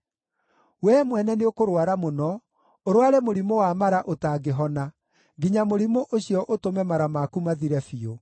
Wee mwene nĩũkũrũara mũno, ũrũare mũrimũ wa mara ũtangĩhona, nginya mũrimũ ũcio ũtũme mara maku mathire biũ.’ ”